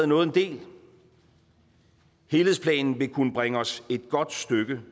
nået en del helhedsplanen vil kunne bringe os et godt stykke